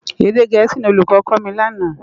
Édé gèési ni ólúkò kò mi làná